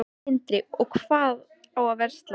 Sindri: Og hvað á að versla?